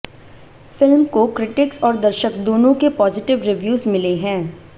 film को critics और दर्शक दोनों के पॉजीटिव रिव्यूज मिले है